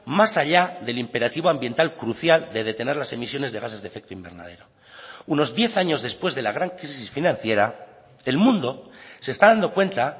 más allá del imperativo ambiental crucial de detener las emisiones de gases de efecto invernadero unos diez años después de la gran crisis financiera el mundo se está dando cuenta